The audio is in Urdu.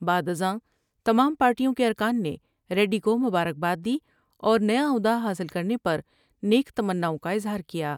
بعد ازاں تمام پارٹیوں کے ارکان نے ریڈی کومبارکباددی اور نیا عہد ہ حاصل کرنے پر نیک تمناؤں کا اظہار کیا ۔